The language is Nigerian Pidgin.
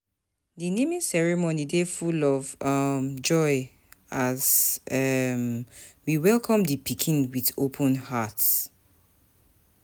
Di naming ceremony dey full um of joy as we welcome di pikin with open hearts.